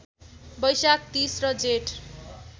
वैशाख ३० र जेठ